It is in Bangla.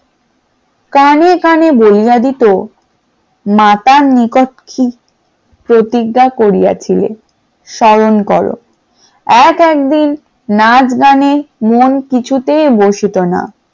কানে কানে বলিয়া দিত, মাতার নিকট প্রতিজ্ঞা করিয়াছিলেন স্মরণ করো এক এক দিন নাচ গানে মন কিছুতেই বসিত না ।